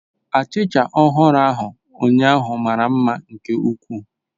Achịcha ọhụrụ ahụ ụnyaahụ mara mma nke ukwuu